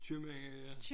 Købmænd ja